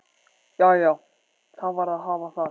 Jæja, það varð að hafa það.